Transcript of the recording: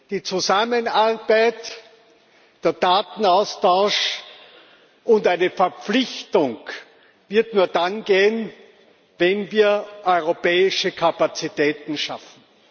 Die Zusammenarbeit der Datenaustausch und eine Verpflichtung wird nur dann gehen, wenn wir europäische Kapazitäten schaffen.